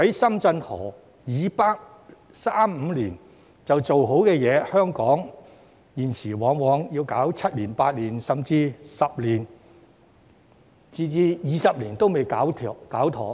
深圳河以北可三五年就完成的建設，香港現時往往需時七八年，甚至十多二十年仍未完成。